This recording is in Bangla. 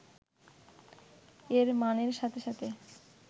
এর মানের সাথে সাথে